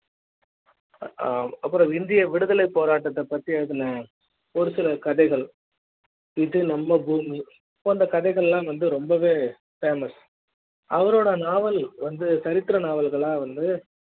அப்பறம் இந்திய விடுதலைப் போராட்டத்த பத்தி அதுல ஒரு சில கதைகள் இது நம்ம பூமி போன்ற கதைகள் எல்லாம் வந்து ரொம்ப famous அவரோட நாவல் வந்து தரித்திர நாவல்களாக வந்து